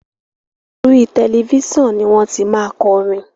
orí Tẹlifísàn ní wón tí má korin